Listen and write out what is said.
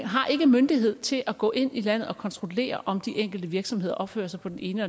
har ikke myndighed til at gå ind i landet og kontrollere om de enkelte virksomheder opfører sig på den ene